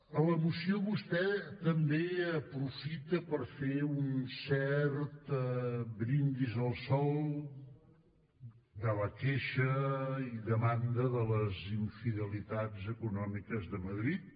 a la moció vostè també aprofita per fer un cert brindis al sol de la queixa i demanda de les infidelitats econòmiques de madrid